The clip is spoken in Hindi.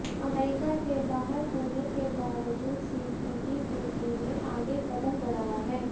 अमेरिका के बाहर होने के बावजूद सीपीटीपीपी ने आगे कदम बढ़ाया है